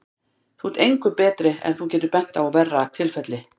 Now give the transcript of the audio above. Þú ert engu skárri ef þú getur bent á verra tilfelli.